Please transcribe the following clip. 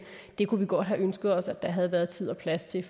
det kunne vi godt have ønsket os at der havde været tid og plads til